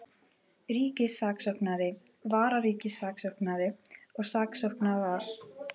Ríkissaksóknari, vararíkissaksóknari og saksóknarar.